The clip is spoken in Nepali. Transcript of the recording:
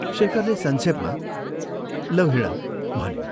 शेखरले संक्षेपमा, " लौ, हिंड " भन्यो।